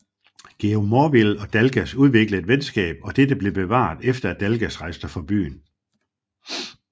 Georg Morville og Dalgas udviklede et venskab og dette blev bevaret efter at Dalgas rejste fra byen